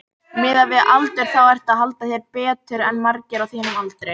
Miðað við aldur þá ertu að halda þér betur en margir á þínum aldri?